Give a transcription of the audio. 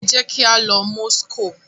Ẹ jẹ kí a lọ Moscow!